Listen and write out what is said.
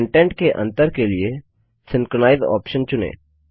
content के अंतर के लिए सिंक्रोनाइज ऑप्शन चुनें